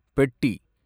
பெட்டி